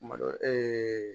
Malo